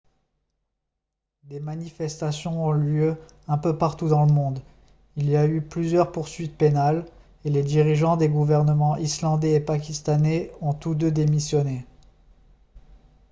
des manifestations ont eu lieu un peu partout dans le monde il y a eu plusieurs poursuites pénales et les dirigeants des gouvernements islandais et pakistanais ont tous deux démissionné